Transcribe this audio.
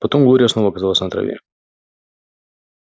потом глория снова оказалась на траве